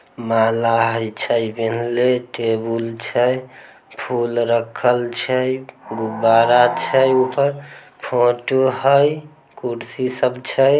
माला हई छै पहिनले टेबुल छै फूल रखल छै गुब्बारा छै ऊपर फोटो हई कुर्सी सब छै ।